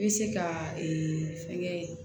I bɛ se ka ee fɛn kɛ